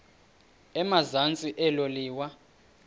emazantsi elo liwa